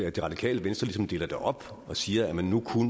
at det radikale venstre ligesom deler det op og siger at man nu